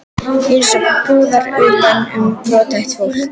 Eins og púðar utan um brothætt fólk.